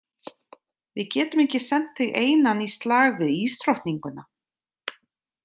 Við getum ekki sent þig einann í slag við ísdrottninguna.